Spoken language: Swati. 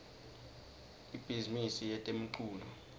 ibhizimisi yetemculo